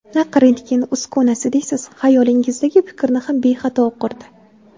Naq rentgen uskunasi deysiz, xayolingizdagi fikrni ham bexato o‘qirdi.